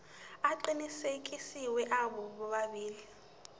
aqinisekisiwe abo bobabili